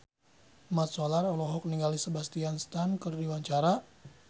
Mat Solar olohok ningali Sebastian Stan keur diwawancara